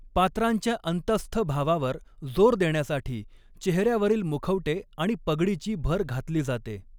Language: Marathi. पात्रांच्या अंतस्थ भावावर जोर देण्यासाठी चेहऱ्यावरील मुखवटे आणि पगडीची भर घातली जाते.